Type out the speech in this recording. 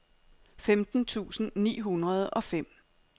femten tusind ni hundrede og fem